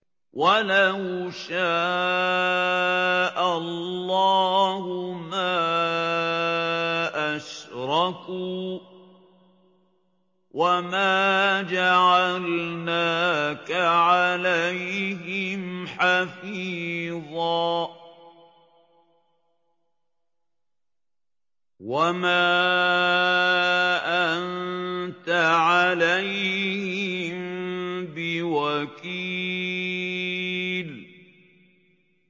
وَلَوْ شَاءَ اللَّهُ مَا أَشْرَكُوا ۗ وَمَا جَعَلْنَاكَ عَلَيْهِمْ حَفِيظًا ۖ وَمَا أَنتَ عَلَيْهِم بِوَكِيلٍ